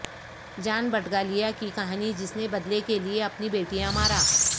جان بٹگالیا کی کہانی جس نے بدلہ کے لئے اپنی بیٹیاں مارا